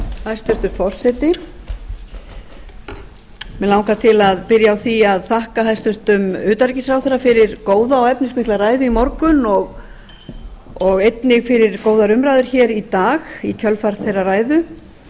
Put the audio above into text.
hæstvirtur forseti mig langar til að byrja á því að þakka hæstvirtum utanríkisráðherra fyrir góða og efnismikla ræðu í morgun og einnig fyrir góðar umræður í dag í kjölfar þeirrar ræðu